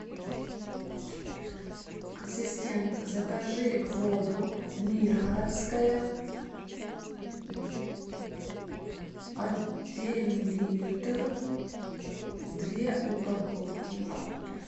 ассистент закажи воду миргородская один литр две упаковки